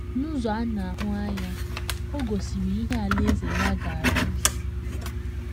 N’ụzọ a na - ahụ anya, o gosiri ihe Alaeze ya ga - arụzu.